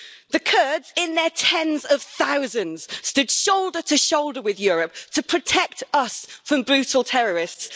The Kurds, in their tens of thousands, stood shoulder to shoulder with Europe to protect us from brutal terrorists.